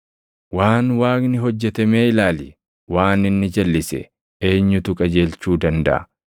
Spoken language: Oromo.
Waan Waaqni hojjete mee ilaali: Waan inni jalʼise eenyutu qajeelchuu dandaʼa?